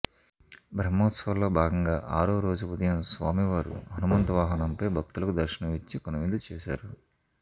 బ్రహ్మోత్సవాల్లో భాగంగా ఆరోరోజు ఉదయం స్వామివారు హనుమంత వాహనంపై భక్తులకు దర్శనం ఇచ్చి కనువిందు చేసారు